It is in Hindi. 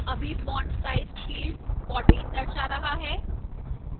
अभी font size field 14 दर्शा रहा है